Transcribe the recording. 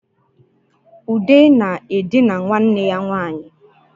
Ude na-edina nwanne ya nwanyị